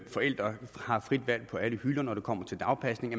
forældre har frit valg på alle hylder når det kommer til dagpasning